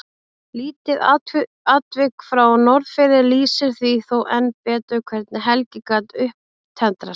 Lítið atvik frá Norðfirði lýsir því þó enn betur hvernig Helgi gat upptendrast.